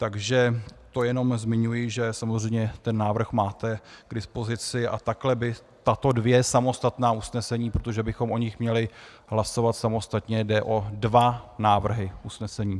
Takže to jenom zmiňuji, že samozřejmě ten návrh máte k dispozici, a takhle by tato dvě samostatná usnesení, protože bychom o nich měli hlasovat samostatně, jde o dva návrhy usnesení.